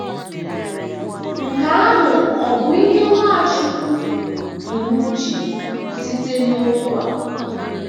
Nke ahụ ọ̀ bụ ihe Nwachukwu bu n’uche site n’okwu a?